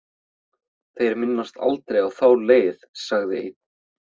Þeir minnast aldrei á þá leið, sagði einn.